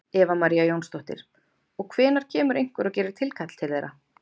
Eva María Jónsdóttir: Og hvenær kemur einhver og gerir tilkall til þeirra?